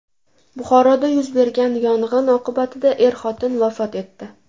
Buxoroda yuz bergan yong‘in oqibatida er-xotin vafot etdi.